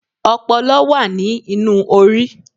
ọpọlọ wa ní inú orí